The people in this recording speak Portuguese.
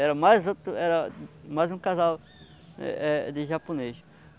Era mais outro, era mais um casal eh de japonês.